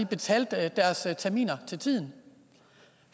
betalte deres terminer til tiden